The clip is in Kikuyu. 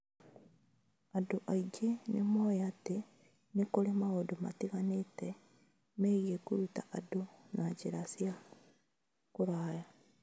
Andũ aingĩ nĩ moĩ atĩ nĩ kũrĩ maũndũ matiganĩte megiĩ kũruta andũ na njĩra cia kũraya.